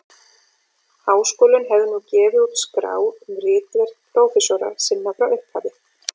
Háskólinn hefði nú gefið út skrá um ritverk prófessora sinna frá upphafi.